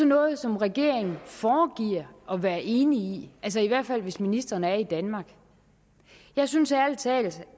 noget som regeringen foregiver at være enig i i hvert fald hvis ministrene er i danmark jeg synes ærlig talt